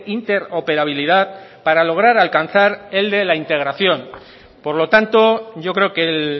interoperabilidad para lograr alcanzar el de la integración por lo tanto yo creo que el